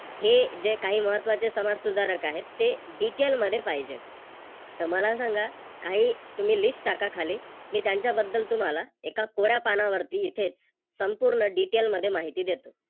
जे काही महत्त्वाचे समाजसुधारक आहेत ते Detail मध्ये पाहिजेत. त मला सांगा काही तुम्ही List टाका खाली मी त्यांच्याबद्दल तुम्हाला एका कोऱ्या पानावरती इथेच संपूर्ण Detail मध्ये माहिती देतो.